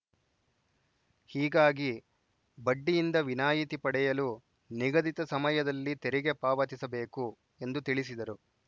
ಹೀಗಾಗಿ ಬಡ್ಡಿಯಿಂದ ವಿನಾಯಿತಿ ಪಡೆಯಲು ನಿಗದಿತ ಸಮಯದಲ್ಲಿ ತೆರಿಗೆ ಪಾವತಿಬೇಕು ಎಂದು ತಿಳಿಸಿದರು